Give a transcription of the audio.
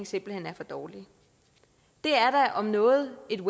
simpelt hen for dårlig det er da om noget et